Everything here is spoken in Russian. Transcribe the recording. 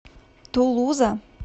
тулуза